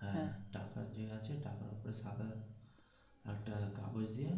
হ্যা টাকা যে আছে টাকার ওপরে সাদা একটা কাগজ দিয়ে